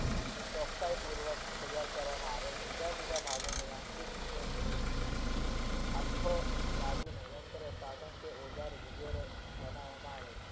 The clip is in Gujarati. ચોકસાયી પૂર્વક તૈયાર કરવા માં આવે છે જુદા જુદા ભગાહોને સાધનો કે ઓઝારો બનાવ માં આવે છે